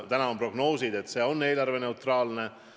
Praegu prognoositakse, et see on eelarveneutraalne otsus.